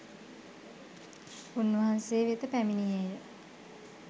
උන්වහන්සේ වෙත පැමිණියේය.